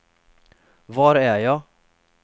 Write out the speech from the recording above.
var är jag